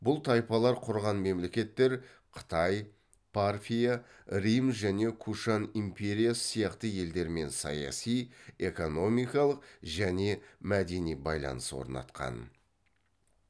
бұл тайпалар құрған мемлекеттер қытай парфия рим және кушан империясы сияқты елдермен саяси экономикалық және мәдени байланыс орнатқан